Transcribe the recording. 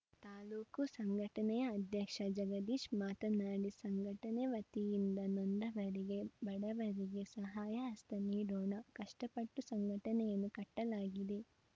ತಾಲೂಕು ಸಂಘಟನೆಯ ಅಧ್ಯಕ್ಷ ಜಗದೀಶ್‌ ಮಾತನಾಡಿ ಸಂಘಟನೆ ವತಿಯಿಂದ ನೊಂದವರಿಗೆ ಬಡವರಿಗೆ ಸಹಾಯಹಸ್ತ ನೀಡೋಣ ಕಷ್ಟಪಟ್ಟು ಸಂಘಟನೆಯನ್ನು ಕಟ್ಟಲಾಗಿದೆ